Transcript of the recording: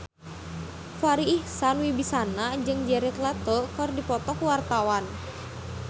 Farri Icksan Wibisana jeung Jared Leto keur dipoto ku wartawan